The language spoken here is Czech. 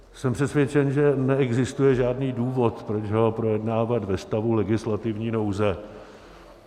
Jsem přesvědčen, že neexistuje žádný důvod, proč ho projednávat ve stavu legislativní nouze.